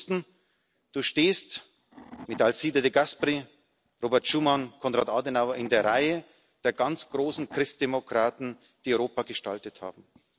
Sie wussten Du stehst mit Alcide de Gasperi, Robert Schuman, Konrad Adenauer in der Reihe der ganz großen Christdemokraten, die Europa gestaltet haben.